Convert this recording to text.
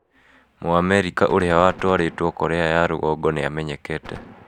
Mũamerika ũrĩa watwarĩtwo Korea ya Rũgongo nĩ amenyekete